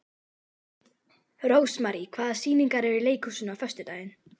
Rósmarý, hvaða sýningar eru í leikhúsinu á föstudaginn?